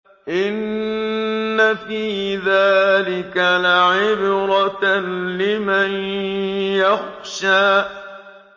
إِنَّ فِي ذَٰلِكَ لَعِبْرَةً لِّمَن يَخْشَىٰ